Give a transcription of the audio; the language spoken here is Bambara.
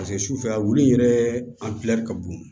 Paseke sufɛ a wulili yɛrɛ ka bon